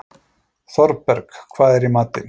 Thorberg, hvað er í matinn?